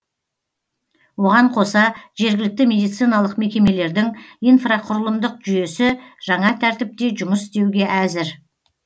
оған қоса жергілікті медициналық мекемелердің инфрақұрылымдық жүйесі жаңа тәртіпте жұмыс істеуге әзір